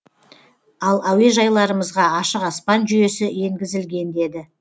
ал әуежайларымызға ашық аспан жүйесі енгізілген деді